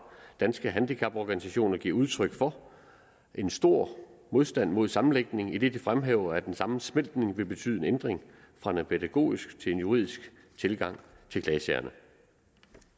danske handicaporganisationer giver udtryk for en stor modstand mod sammenlægningen idet det fremhæver at en sammensmeltning vil betyde en ændring fra en pædagogisk til en juridisk tilgang til klagesagerne